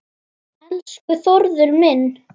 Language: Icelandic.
Úr honum margur fylli fær.